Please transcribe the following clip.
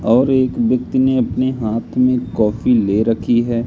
और एक व्यक्ति ने अपने हाथ में कॉफी ले रखी है।